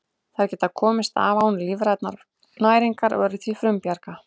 Þær geta komist af án lífrænnar næringar og eru því frumbjarga.